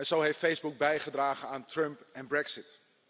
Zo heeft Facebook bijgedragen aan Trump en Brexit.